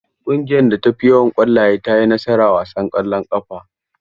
Ƙungiyar da ta fi yawan ƙwallaye ta yi nasara a wasan ƙwallon ƙafa.